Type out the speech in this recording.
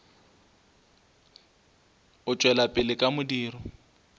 o tšwela pele ka modiro